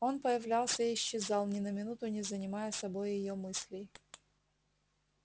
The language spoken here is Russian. он появлялся и исчезал ни на минуту не занимая собой её мыслей